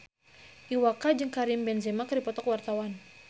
Iwa K jeung Karim Benzema keur dipoto ku wartawan